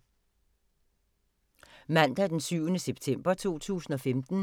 Mandag d. 7. september 2015